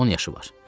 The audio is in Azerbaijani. On yaşı var.